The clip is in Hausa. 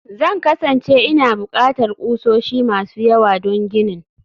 Zan kasance ina buƙatar ƙusoshi masu yawa don ginin